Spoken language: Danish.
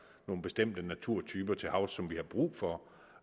nogle bestemte naturtyper til havs som vi har brug for